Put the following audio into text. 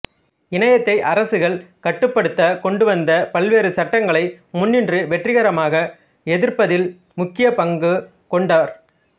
இணையத்தை அரசுகள் கட்டுப்படுத்த கொண்டுவந்த பல்வேறு சட்டங்களை முன்னின்று வெற்றிகரமாக எதிர்ப்பதில் முக்கிய பங்கு கொண்டார்